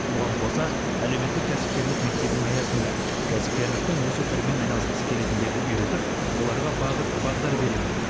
бұған қоса әлеуметтік кәсіпкерлік мектебінің аясында кәсіпкерліктің осы түрімен айналысқысы келетіндерді үйретіп оларға бағыт бағдар беремін